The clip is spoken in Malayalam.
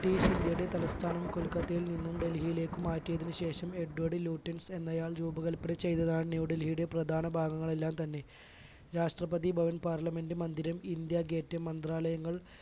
british ഇന്ത്യയുടെ തലസ്ഥാനം കൊൽക്കത്തയിൽ നിന്നും ഡൽഹിയിലേക്ക് മാറ്റിയതിന് ശേഷം എഡ്വേഡ് ലൂട്ടൻ എന്നയാൾ രൂപകല്പന ചെയ്തതാണ് ന്യൂഡൽഹിയുടെ പ്രധാന ഭാഗങ്ങൾ എല്ലാം തന്നെ രാഷ്ട്രപതി ഭവൻ, പാർലമെൻറ് മന്ദിരം, ഇന്ത്യാഗേറ്റ്, മന്ത്രാലയങ്ങൾ